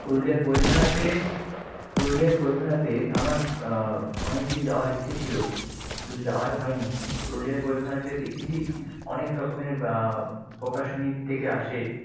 পুরুলিয়ার বই মেলাতে, পুরুলিয়ার বই মেলাতে আমার আহ অনেকদিন যাওয়ার ইচ্ছা ছিল, কিন্তু যাওয়াই হয়নি। পুরুলিয়ার বই মেলাতে দেখেছি অনেক রকমের আহ প্রকাশনী থেকে আসে।